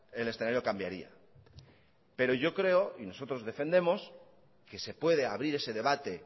el escenario cambiaria pero yo creo y nosotros defendemos que se puede abrir ese debate